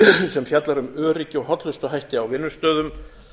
sem fjallar um öryggi og hollustuhætti á vinnustöðum